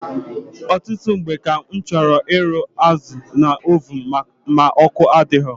Ọtụtụ mgbe ka m chọrọ ịrụ azụ na ovun ma ọkụ adịghị.